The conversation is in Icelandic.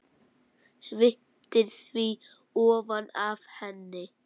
Sviptir því ofan af henni.